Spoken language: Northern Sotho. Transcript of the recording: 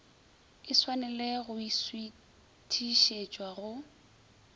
e tshwanele go šuithišetšwa go